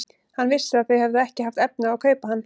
Hann vissi að þau höfðu ekki haft efni á að kaupa hann.